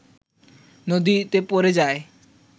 নদীতে পড়ে যায়